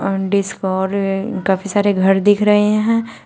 काफी सारे घर दिख रहे हैं।